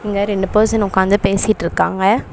இங்க ரெண்டு பர்சன் உட்காந்து பேசிட்டுருக்காங்க.